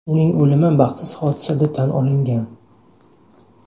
Uning o‘limi baxtsiz hodisa deb tan olingan.